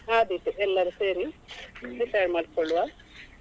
ಹಾ ಆದೀತು ಎಲ್ಲರು ಸೇರಿ decide ಮಾಡ್ಕೊಳ್ಳುವ.